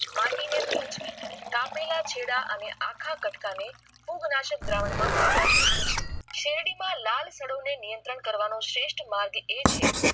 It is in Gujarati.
માટી ને ભીંજવી કાપેલા ચેડાં આખા કટકા ને ખુબ નાશક દ્રાવણ માં બોલવા જોઈએ શેરડી માં લાલ સાદો માં નિયંત્રણ કરવા શ્રેઠ માર્ગ આ છે